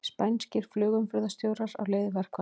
Spænskir flugumferðarstjórar á leið í verkfall